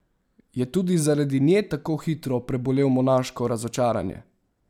Je tudi zaradi nje tako hitro prebolel monaško razočaranje?